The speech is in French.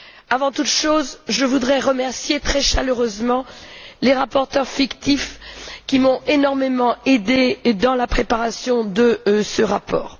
Avant toute chose, je voudrais remercier très chaleureusement les rapporteurs fictifs qui m'ont énormément aidée dans la préparation de ce rapport.